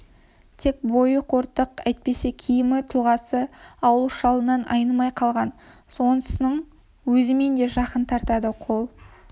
тек бойы қортық әйтпесе киімі тұлғасы ауыл шалынан айнымай қалған сонысының өзімен де жақын тартады қол